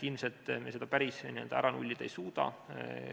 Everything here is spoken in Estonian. Ilmselt me seda päris ära nullida ei suuda.